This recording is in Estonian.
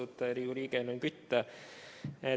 Austatud Riigikogu liige Helmen Kütt!